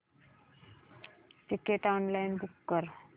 ticket online book कर